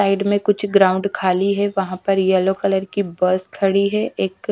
side में कुछ ground खाली है वहां पर येलो कलर की बस खड़ी है एक--